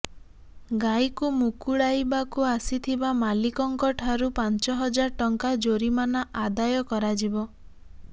ଗାଈକୁ ମୁକୁଳାଇବାକୁ ଆସିଥିବା ମାଲିକଙ୍କଠାରୁ ପାଞ୍ଚ ହଜାର ଟଙ୍କା ଜୋରିମାନା ଆଦାୟ କରାଯିବ